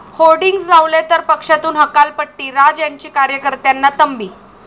hoardings लावले तर पक्षातून हकालपट्टी, राज यांची कार्यकर्त्यांना तंबी